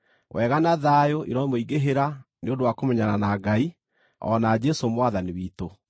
Wega na thayũ iromũingĩhĩra nĩ ũndũ wa kũmenyana na Ngai, o na Jesũ Mwathani witũ.